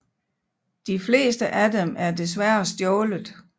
De fleste af dem er desværre stjålet